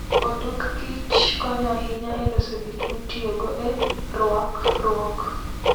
odok kich konyo ahinya e loso gik mitiyogo e rwakruok.